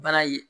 Baara ye